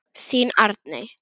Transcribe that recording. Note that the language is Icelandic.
Þín Arney.